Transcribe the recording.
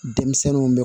Denmisɛnninw